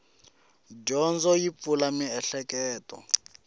dyondzo yi pfula mieheketo